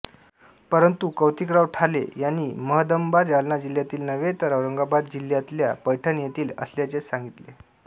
परंतु कौतिकराव ठाले यांनी महदंबा जालना जिल्ह्यातील नव्हे तर औरंगाबाद जिल्ह्यातल्या पैठण येथील असल्याचे सांगितले